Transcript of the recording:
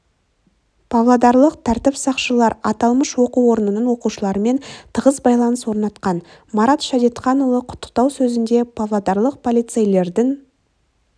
павлодарлық тәртіп сақшылары аталмыш оқу орнының оқушыларымен тығыз байланыс орнатқан марат шадетханұлы құттықтау сөзінде павлодарлық полицейлердің